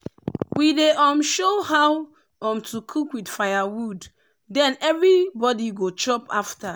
we dey um show how um to cook with firewood then everybody go chop after.